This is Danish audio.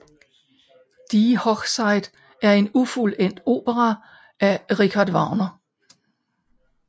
Die Hochzeit er en ufuldendt opera af Richard Wagner